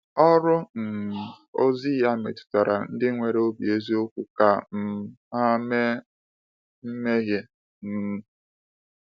Ọrụ um ozi ya metụtara ndị nwere obi eziokwu ka um ha mee mmehie. um